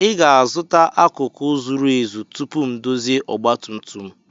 Ị ga-azụta akụkụ zuru ezu tupu m ndozie ọgba tum tum